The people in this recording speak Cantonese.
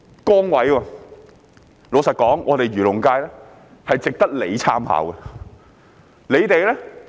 坦白說，漁農界是值得他參考的。